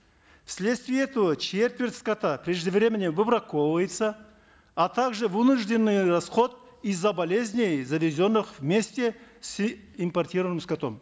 в следствие этого четверть скота преждевременно выбраковывается а также вынужденный расход из за болезней завезенных вместе с импортированным скотом